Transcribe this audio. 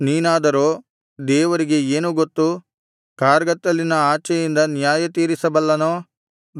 ನೀನಾದರೋ ದೇವರಿಗೆ ಏನು ಗೊತ್ತು ಕಾರ್ಗತ್ತಲಿನ ಆಚೆಯಿಂದ ನ್ಯಾಯತೀರಿಸಬಲ್ಲನೋ